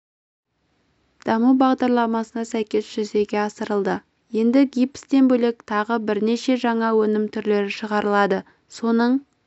даму бағдарламасына сәйкес жүзеге асырылды енді гипстен бөлек тағы бірнеше жаңа өнім түрлері шығарылады соның